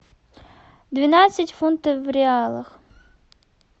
двенадцать фунтов в реалах